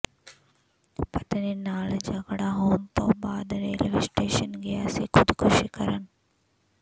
ਪਤਨੀ ਨਾਲ ਝਗੜਾ ਹੋਣ ਤੋਂ ਬਾਅਦ ਰੇਲਵੇ ਸਟੇਸ਼ਨ ਗਿਆ ਸੀ ਖ਼ੁਦਕੁਸ਼ੀ ਕਰਨ